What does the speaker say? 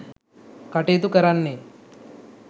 කටයුතු කරන්නේ.